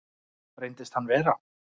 Reyndist hann vera